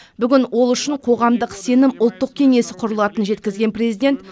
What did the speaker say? бүгін ол үшін қоғамдық сенім ұлттық кеңесі құлылатынын жеткізген президент